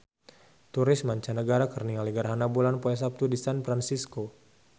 Turis mancanagara keur ningali gerhana bulan poe Saptu di San Fransisco